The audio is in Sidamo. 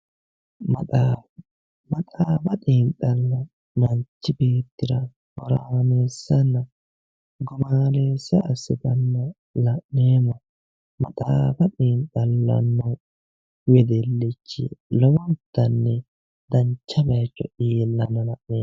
Ma xaa. maxaafa xiinixalla manichi beetira horaamesanna gumaameesa assitanna la'neemo maxaaffa xiinixxallano wedellich lowontani dancha bayicho ilanna la'neemo